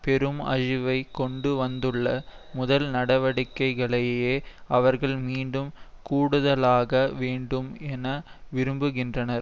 பெரும் அழிவை கொண்டுவந்துள்ள முதல் நடவடிக்கைகளையே அவர்கள் மீண்டும் கூடுதலாக்க வேண்டும் என்று விரும்புகின்றனர்